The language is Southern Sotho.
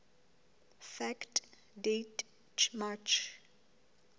fact date march